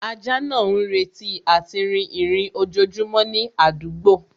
Ajá náà ń retí àti rìn ìrìn ojojúmọ́ ní àdúgbò